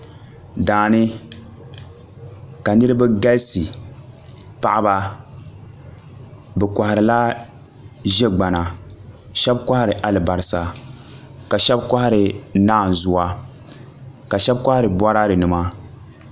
Daani ka niraba galisi paɣaba bi koharila ʒɛ gbana shab kohari alibarisa ka shab kohari naanzuwa ka shab kohari Boraadɛ nima